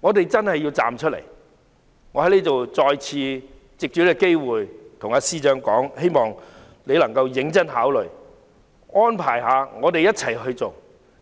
我們真的要站出來，我再次藉此機會跟司長說，希望他能夠認真考慮，安排我們一起做，